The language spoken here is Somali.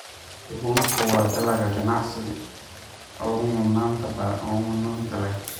Bunku waa dalag ganacsi oo mudnaanta leh.